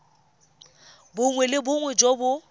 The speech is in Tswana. bongwe le bongwe jo bo